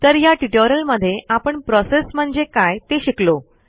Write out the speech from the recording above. तर ह्या ट्युटोरियलमधे आपण प्रोसेस म्हणजे काय ते शिकलो